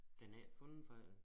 Den er ikke fundet før øh